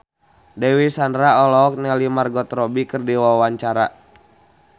Dewi Sandra olohok ningali Margot Robbie keur diwawancara